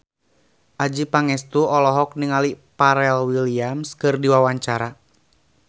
Adjie Pangestu olohok ningali Pharrell Williams keur diwawancara